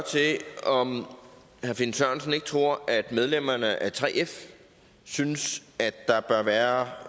om herre finn sørensen ikke tror at medlemmerne af 3f synes at der bør være